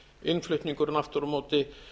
innflutningurinn aftur á móti